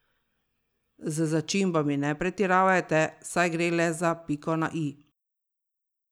Z začimbami ne pretiravajte, saj gre le za piko na i.